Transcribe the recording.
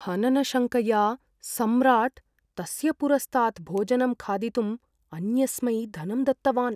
हननशङ्कया सम्राट्, तस्य पुरस्तात् भोजनं खादितुम् अन्यस्मै धनं दत्तवान्।